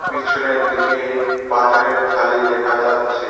পিছনের দিকে পাথরের থালি দেখা যাচ্ছে।